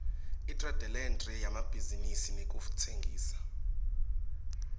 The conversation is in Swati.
itradelentre yemabhizinisi nekutsengisa